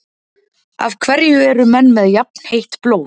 Af hverju eru menn með jafnheitt blóð?